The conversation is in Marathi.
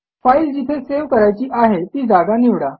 फाईल जिथे सेव्ह करायची आहे ती जागा निवडा